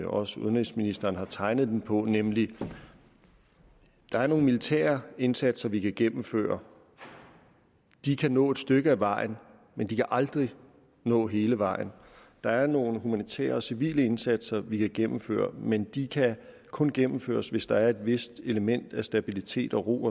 også udenrigsministeren har tegnet den på nemlig at der er nogle militære indsatser vi kan gennemføre de kan nå et stykke ad vejen men de kan aldrig nå hele vejen der er nogle humanitære og civile indsatser vi kan gennemføre men de kan kun gennemføres hvis der er et vist element af stabilitet ro